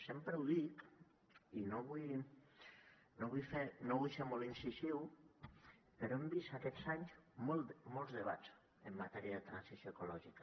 sempre ho dic i no vull ser molt incisiu però hem vist aquests anys molts debats en matèria de transició ecològica